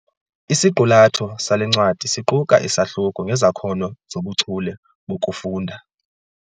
Isiqulatho sale ncwadi siquka isahluko ngezakhono zobuchule bokufunda.